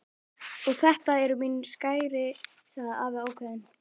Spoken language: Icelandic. Og þetta eru mín skæri sagði afi ákveðinn.